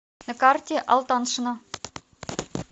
на карте алтаншина